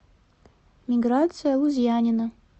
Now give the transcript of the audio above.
миграция лузьянина